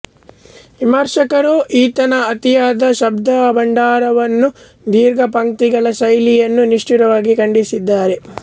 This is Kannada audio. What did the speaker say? ವಿಮರ್ಶಕರು ಈತನ ಅತಿಯಾದ ಶಬ್ದಾಡಂಬರವನ್ನೂ ದೀರ್ಘಪಂಕ್ತಿಗಳ ಶೈಲಿಯನ್ನೂ ನಿಷ್ಠುರವಾಗಿ ಖಂಡಿಸಿದ್ದಾರೆ